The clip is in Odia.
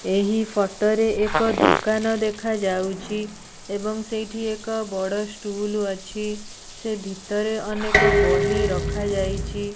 ଏହି ଫଟ ରେ ଏକ ଦୋକାନ ଦେଖାଯାଉଚି। ଏବଂ ସେଇଠି ଏକ ବଡ଼ ଷ୍ଟୁଲ ଅଛି। ସେ ଭିତରେ ଅନେକ ବହି ରଖାଯାଇଛି।